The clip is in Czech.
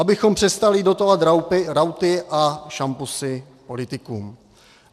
Abychom přestali dotovat rauty a šampusy politikům.